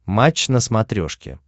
матч на смотрешке